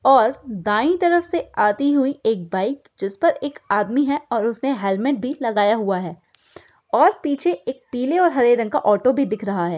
और दाई तरफ से आती हुयी एक बाईक जिस पर एक आदमी है और उसने हेलमेट भी लगाया हुवा है और पीछे एक पीले और हरे रंग का ओटो भी दिख रहा है।